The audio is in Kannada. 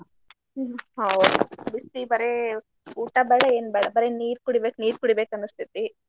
ಹ್ಮ್ ಹೌದ್ ಬಿಸ್ಲಿಗ್ ಬರೇ ಊಟ ಬ್ಯಾಡ ಏನ್ ಬ್ಯಾಡ ಬರೇ ನೀರ್ ಕುಡಿಬೇಕ್ ನೀರ್ ಕುಡಿಬೇಕನಿಸ್ತೇತಿ.